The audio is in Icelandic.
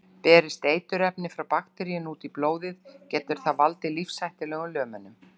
Berist eiturefni frá bakteríunni út í blóðið getur það valdið lífshættulegum lömunum.